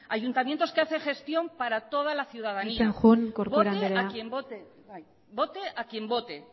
ayuntamientos que hacen gestión para toda la ciudadanía voten a quien voten vote a quien vote